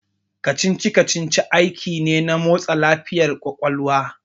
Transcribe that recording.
Kacici kacici aiki ne na motsa lafiyar ƙwaƙwalwa